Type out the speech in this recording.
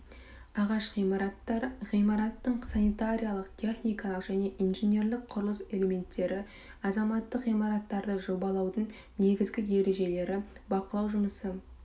ағаш ғимараттар ғимараттың санитариялық техникалық және инженерлік құрылыс элементтері азаматтық ғимараттарды жобалаудың негізгі ережелері бақылау жұмысы